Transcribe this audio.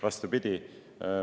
Vastupidi!